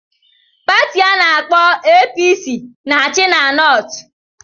Pati ana-akpo APC na-achị na Nortu.